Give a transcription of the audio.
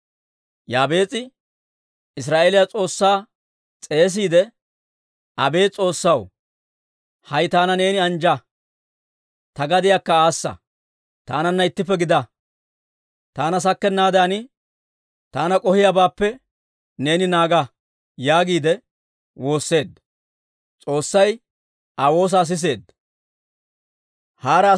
Yaabees'i Israa'eeliyaa S'oossaa s'eesiide, «Abeet S'oossaw, hay taana neeni anjja; ta gadiyaakka aassa. Taananna ittippe gidaa; taana sakkennaadan taana k'ohiyaabaappe neeni naaga» yaagiide woosseedda. S'oossay Aa woosaa siseedda.